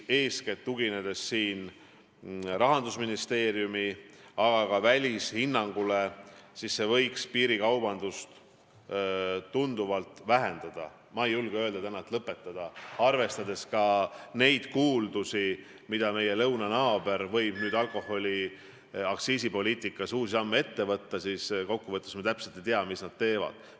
Tuginedes eeskätt Rahandusministeeriumi hinnangule, aga ka välishinnangule, võib öelda, et see võiks piirikaubandust tunduvalt vähendada, ma ei julge täna öelda, et see võiks piirikaubanduse lõpetada, arvestades ka kuuldusi, mida meie lõunanaaber võib alkoholiaktsiisipoliitikas ette võtta, me täpselt ju ei tea, mis nad teevad.